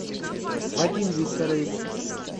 вадим викторович